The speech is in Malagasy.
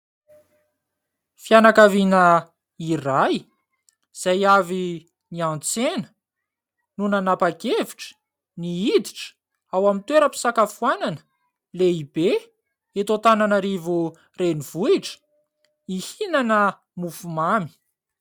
Fianakaviana iray izay avy ny an-tsena no nanapa-kevitra ny hiditra ao amin'ny toeram-pisakafoanana lehibe eto Antananarivo renivohitra, hihinana mofomamy.